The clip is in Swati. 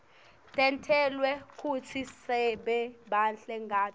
tentelwe kutsi sibe bahle ngato